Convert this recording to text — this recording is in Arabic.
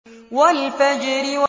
وَالْفَجْرِ